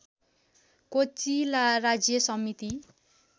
cochlea राज्य समिति